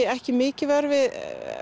ekki mikið vör við